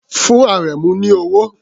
Fún Àrẹ̀mú ní owó!